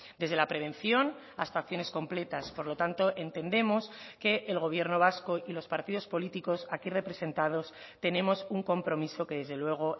desde la prevención hasta acciones completas por lo tanto entendemos que el gobierno vasco y los partidos políticos aquí representados tenemos un compromiso que desde luego